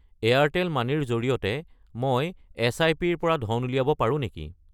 Airtel money ৰ জৰিয়তে মই এছআইপি-ৰ পৰা ধন উলিয়াব পাৰোঁ নেকি?